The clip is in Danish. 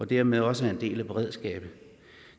dermed også en del af beredskabet